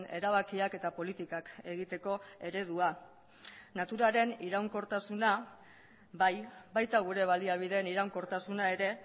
erabakiak eta politikak egiteko eredua naturaren iraunkortasuna bai baita gure baliabideen iraunkortasuna ere